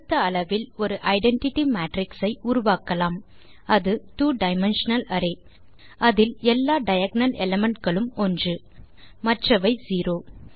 கொடுத்த அளவில் ஒரு ஐடென்டிட்டி மேட்ரிக்ஸ் ஐ உருவாக்கலாம் அது two டைமென்ஷனல் array160 அதில் எல்லா டயகோனல் எலிமென்ட்ஸ் களும் ஒன்று மற்றவை செரோ